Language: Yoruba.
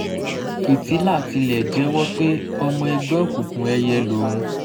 fìtílà tilẹ̀ jẹ́wọ́ pé ọmọ ẹgbẹ́ òkùnkùn ẹyẹ lòun